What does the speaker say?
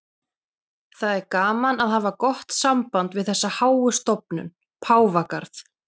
Það er gaman að hafa gott samband við þessa háu stofnun, Páfagarð.